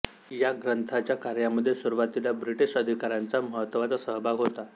या ग्रंथाच्या कार्यामध्ये सुरुवातीला ब्रिटिश अधिकाऱ्यांचा महत्त्वाचा सहभाग होता